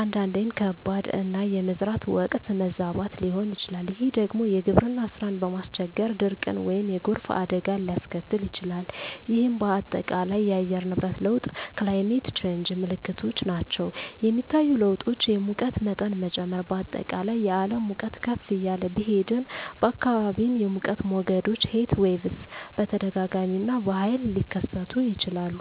(አንዳንዴም ከባድ)፣ እና የመዝራት ወቅት መዛባት ሊሆን ይችላል፤ ይህ ደግሞ የግብርና ሥራን በማስቸገር ድርቅን ወይም የጎርፍ አደጋን ሊያስከትል ይችላል፣ ይህም በአጠቃላይ የአየር ንብረት ለውጥ (Climate Change) ምልክቶች ናቸው. የሚታዩ ለውጦች: የሙቀት መጠን መጨመር: በአጠቃላይ የዓለም ሙቀት ከፍ እያለ ቢሄድም፣ በአካባቢዎም የሙቀት ሞገዶች (Heatwaves) በተደጋጋሚ እና በኃይል ሊከሰቱ ይችላሉ.